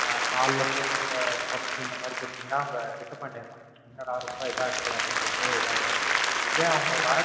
காலைல போட்டு இருந்த பப்ஸ் இந்த மாதிரி குடுத்தீங்கன்னா அவுங்க Disappoint ஆயிருவாங்க. என்னடா ரொம்ப இதா இருக்கே அப்படின்னு சொல்லிட்டு இதா ஆயிருவாங்க.